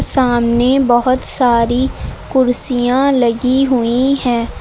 सामने बहोत सारी कुर्सियां लगी हुई हैं।